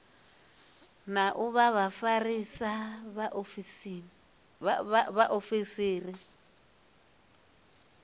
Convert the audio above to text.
na u vha vhafarisa vhaofisiri